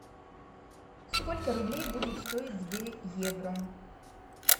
сколько рублей будет стоить две евро